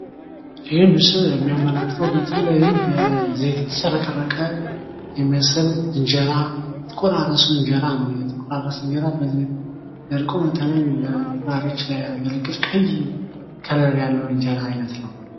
ይህ ምስል የሚያመላክተው በተለይም በዘይት የተጭረቀረቀ የሚመስል እንጀራ የተቆራረሰ እንጀራ ነው። የተቆራረሰ እንጀራ በዘይት ደርቆ በተለይም ለተማሪዎች የሚያገለግል ቀይ ከለር ያለው እንጀራ አይነት ነው።